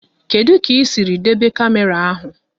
Kedụ kà isiri debe kamera áhu?